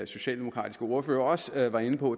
socialdemokratiske ordfører også var inde på